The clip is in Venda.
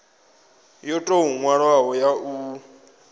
yo tou nwalwaho ya u